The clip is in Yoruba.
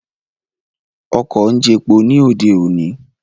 Ọkọ̀ ń jepo ní òde òní